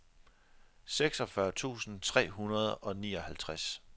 seksogfyrre tusind tre hundrede og nioghalvtreds